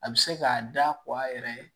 A bɛ se k'a da kɔ a yɛrɛ ye